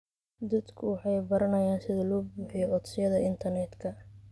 Dadku waxay baranayaan sida loo buuxiyo codsiyada internetka.